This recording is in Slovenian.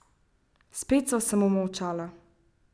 Spet sva samo molčala.